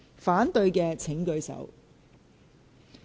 反對的請舉手。